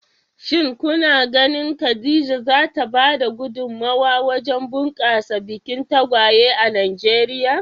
Shin kuna ganin Khadija za ta ba da gudummawa wajen bunƙasa bikin tagwaye a Najeriya?